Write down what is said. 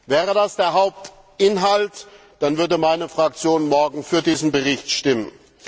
Wäre das der Hauptinhalt, dann würde meine Fraktion morgen für diesen Bericht stimmen.